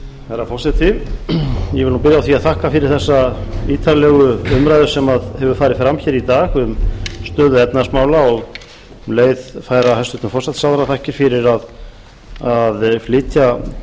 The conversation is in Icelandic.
herra forseti ég vil nú byrja á því að þakka fyrir þessa ítarlegu umræðu sem hefur farið fram hér í dag um stöðu efnahagsmála og um leið færa hæstvirtur forsætisráðherra þakkir fyrir að flytja